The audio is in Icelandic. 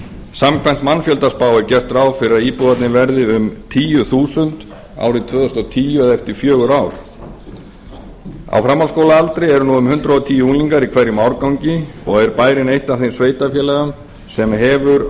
samkvæmt mannfjöldaspá er gert ráð fyrir að íbúarnir verði um tíu þúsund árið tvö þúsund og tíu eða eftir fjögur ár á framhaldsskólaaldri eru nú um hundrað og tíu unglingar í hverjum árgangi og er bærinn eitt af þeim sveitarfélögum sem hefur